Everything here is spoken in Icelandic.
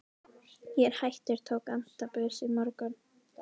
Ég er hættur, tók antabus í morgun.